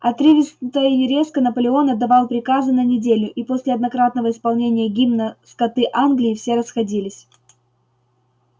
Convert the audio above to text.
отрывисто и резко наполеон отдавал приказы на неделю и после однократного исполнения гимна скоты англии все расходились